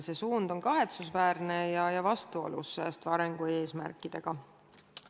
See suund on kahetsusväärne ja vastuolus säästva arengu eesmärkidega.